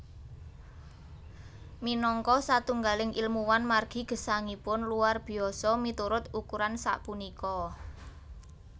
Minangka satunggaling ilmuwan margi gesangipun luar biasa miturut ukuran sapunika